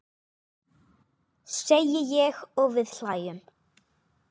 segi ég og við hlæjum.